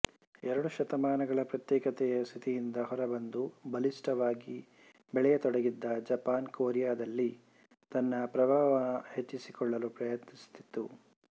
ಎರಡು ಶತಮಾನಗಳ ಪ್ರತ್ಯೇಕತೆಯ ಸ್ಥಿತಿಯಿಂದ ಹೊರಬಂದು ಬಲಿಷ್ಠವಾಗಿ ಬೆಳೆಯತೊಡಗಿದ್ದ ಜಪಾನ್ ಕೊರಿಯದಲ್ಲಿ ತನ್ನ ಪ್ರಭಾವ ಹೆಚ್ಚಿಸಿಕೊಳ್ಳಲು ಪ್ರಯತ್ನಿಸುತ್ತಿತ್ತು